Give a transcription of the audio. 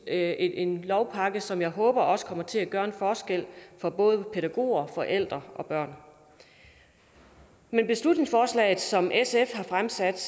er en lovpakke som jeg håber også kommer til at gøre en forskel for både pædagoger forældre og børn men beslutningsforslaget som sf har fremsat